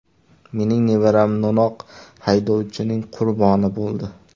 Mening nevaram no‘noq haydovchining qurboni bo‘ldi.